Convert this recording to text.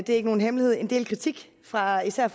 er ikke nogen hemmelighed en del kritik fra især